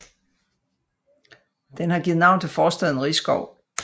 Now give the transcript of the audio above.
Den har givet navn til forstaden Risskov